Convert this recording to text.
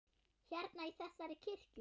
Hérna, í þessari kirkju?